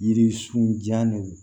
Yiririsunjan de